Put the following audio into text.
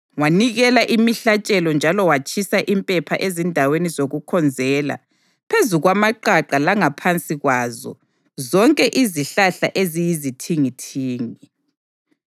Wanikela imihlatshelo njalo watshisa impepha ezindaweni zokukhonzela phezu kwamaqaqa langaphansi kwazo zonke izihlahla eziyizithingithingi.